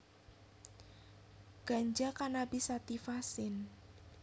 Ganja Cannabis sativa syn